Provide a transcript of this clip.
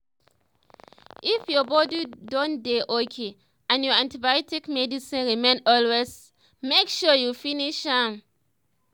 if ur body don dey okay and ur antibiotics medicine remain always make sure u finsh m.